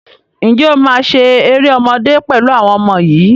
Ǹjẹ́ o máa ṣe eré ọmọdé pẹ̀lú àwọn ọmọ yìí